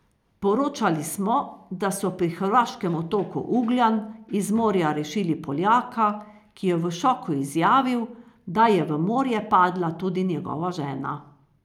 Poročali smo, da so pri hrvaškem otoku Ugljan iz morja rešili Poljaka, ki je v šoku izjavil, da je v morje padla tudi njegova žena.